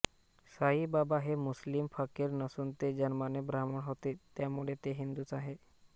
साईबाबा हे मुस्लिम फकीर नसून ते जन्माने ब्राम्हण होते त्यामुळे ते हिंदूच आहेत